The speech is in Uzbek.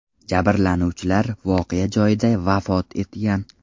Jabrlanuvchilar voqea joyida vafot etgan .